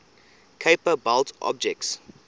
kuiper belt objects